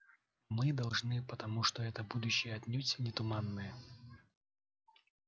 мы должны потому что это будущее отнюдь не туманное